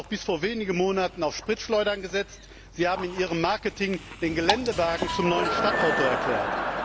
haben noch bis vor wenigen Monaten auf Spritschleudern gesetzt, sie haben in ihrem Marketing den Geländewagen zum neuen Stadtauto erklärt.